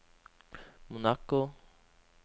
Monaco